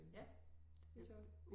Ja det gør det